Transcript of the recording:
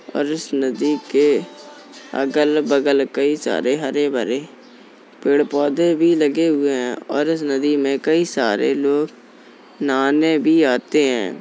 और इस नदी के अगल-बगल कई सारे हरे-भरे पेड़-पौधे भी लगे हुए हैं और इस नदी में कई सारे लोग नहाने भी आते हैं।